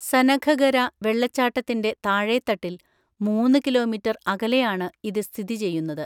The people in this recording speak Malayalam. സനഘഗര വെള്ളച്ചാട്ടത്തിന്റെ താഴേത്തട്ടിൽ മൂന്ന് കിലോമീറ്റർ അകലെയാണ് ഇത് സ്ഥിതിചെയ്യുന്നത്.